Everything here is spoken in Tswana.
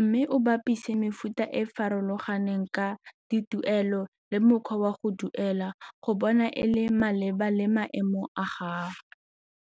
mme o bapise mefuta e farologaneng ka dituelo le mokgwa wa go duela go bona e le maleba le maemo a gago.